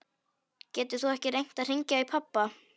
Getur þú ekki reynt að hringja í pabba?